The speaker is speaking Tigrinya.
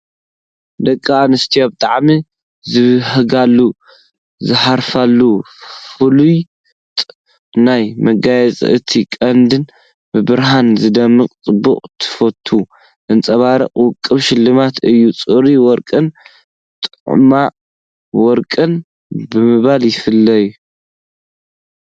ደቂ ኣንስትዮ ብጣዕሚ ዝብህግኦን ዝሃርፈኦን ፍሉጥ ናይ መጋየፂ እቲ ቀንድን ብብርሃን ዝደምቕን ጽባቐ ትውፊት ዘንጸባርቕን ውቁብ ሽልማት እዩ። ፅሩይ ወርቅን ጥማዕ ወርቅን ብምባል ይፍለ፡፡